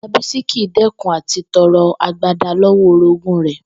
Ìyá Bísí kì í dé̩kun à ti to̩ro̩ agbada ló̩wó̩ orogún rè̩